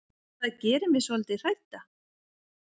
Það gerir mig svolítið hrædda.